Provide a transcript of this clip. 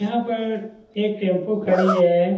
यहाँ पर एक टैम्पू खड़ी है।